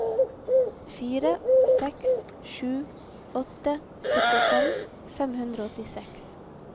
fire seks sju åtte syttifem fem hundre og åttiseks